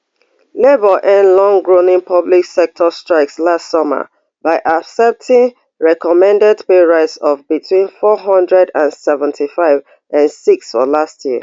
labour end longrunning public sector strikes last summer by accepting recommended pay rise of between four hundred and seventy-five and six for last year